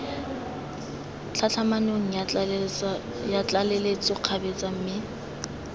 tlhatlhamanong ya tlaleletso kgabetsa mme